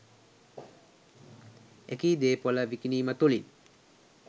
එකී දේපළ විකිණීම තුලින්